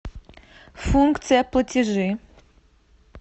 функция платежи